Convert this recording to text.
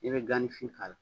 I bɛ ganifin k'a la